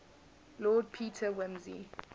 lord peter wimsey